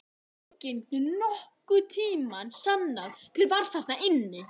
Enginn getur nokkurn tíma sannað hver var þarna inni!